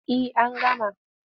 Eh an gama.